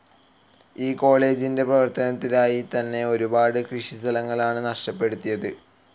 ഈ കോളജിൻ്റെ പ്രവർത്തനത്തിനായി തന്നെ ഒരുപാട് കൃഷി സ്ഥലങ്ങളാണ് നഷ്ടപ്പെടുത്തിയത്.